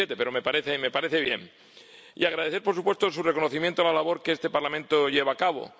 2017. Pero me parece bien. Y deseo agradecer, por supuesto, su reconocimiento a la labor que este Parlamento lleva a cabo.